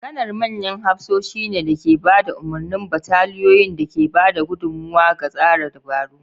Kanar manyan hafsoshi ne da ke ba da umarnin bataliyoyin da ke ba da gudummawa ga tsara dabaru.